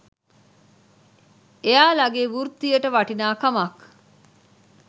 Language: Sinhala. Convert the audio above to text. එයාලගෙ වෘත්තියට වටිනාකමක්